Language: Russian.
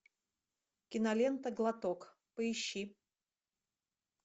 кинолента глоток поищи